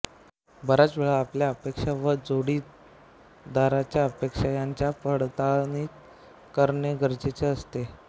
बराच वेळा आपल्या अपेक्षा व जोडीदारच्या अपेक्षा यांची पडताळणी करणे गरजेचे असते